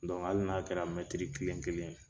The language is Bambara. Don hali n'a kɛra mɛtiri kelen kelen ye.